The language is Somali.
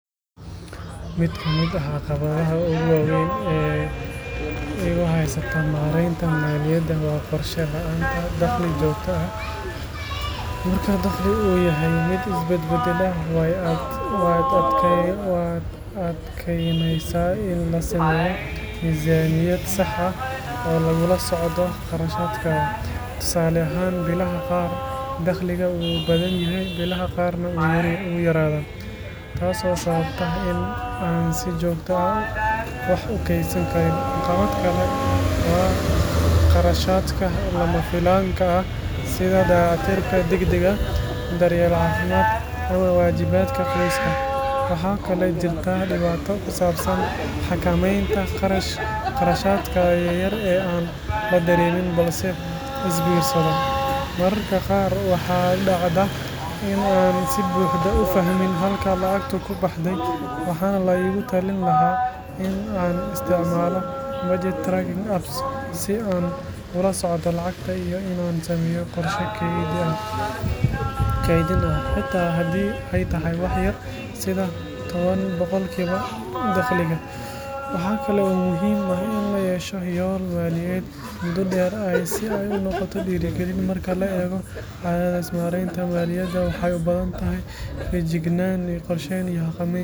Mid ka mid ah caqabadaha ugu waaweyn ee igu haysata maareynta maaliyadda waa qorshe la’aanta dakhli joogto ah. Marka dakhliga uu yahay mid isbedbedbela, way adkaanaysaa in la sameeyo miisaaniyad sax ah oo lagula socdo kharashaadka. Tusaale ahaan, bilaha qaar dakhliga wuu badan yahay, bilaha qaarna wuu yaraadaa, taasoo sababta in aan si joogto ah wax u kaydsan karin. Caqabad kale waa kharashaadka lama filaanka ah sida dayactirka degdegga ah, daryeel caafimaad ama waajibaadka qoyska. Waxaa kaloo jirta dhibaato ku saabsan xakameynta kharashaadka yaryar ee aan la dareemin balse isbiirsada. Mararka qaar waxaa dhacda in aanan si buuxda u fahmin halka lacagtu ku baxday. Waxaa la iigu talin lahaa in aan isticmaalo budget tracking apps si aan ula socdo lacagta, iyo in aan sameeyo qorshe kaydin ah, xitaa haddii ay tahay wax yar, sida toban boqolkiiba dakhliga. Waxa kale oo muhiim ah in la yeesho yool maaliyadeed muddo dheer ah si ay u noqoto dhiirigelin. Marka la eego caqabadahaas, maareynta maaliyaddu waxay u baahan tahay feejignaan, qorsheyn iyo xakameyn joogto ah.